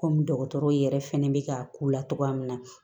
Kɔmi dɔgɔtɔrɔw yɛrɛ fɛnɛ bɛ ka k'u la togoya min na